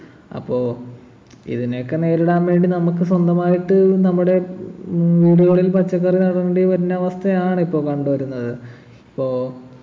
അപ്പോ ഇതിനെയൊക്കെ നേരിടാൻ വേണ്ടി നമുക്ക് സ്വന്തമായിട്ട് നമ്മുടെ ഏർ വീടുകളിൽ പച്ചക്കറി നടേണ്ടിവരുന്ന അവസ്ഥയാണ് ഇപ്പൊ കണ്ടുവരുന്നത് ഇപ്പോ